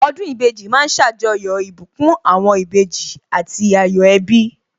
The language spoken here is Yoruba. Ọdún ìbejì ma ń ṣàjọyọ̀ ìbùkún àwọn ìbejì àti ayọ̀ ẹbí